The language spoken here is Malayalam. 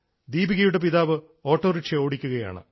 ദീപികയുടെ പിതാവ് ഓട്ടോറിക്ഷ ഓടിക്കുകയാണ്